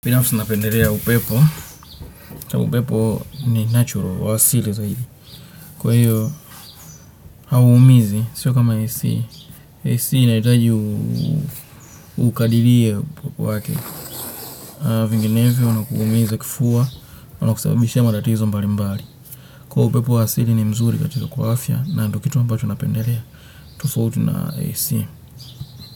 Binafsi napendelea upepo, na upepo ni natural wa asili zaidi. Kwa hiyo, haumizi, sio kama AC, AC inahitaji ukadirie upepo wake. Vinginevyo, unakuumiza kifua, unakusababishia matatizo mbali mbali. Kwa upepo waasili ni mzuri katika kwaafya, na ndo kitu ambacho napendelea, tufauti na AC.